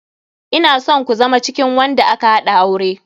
Ina son ku zama cikin wanda aka haɗa aure.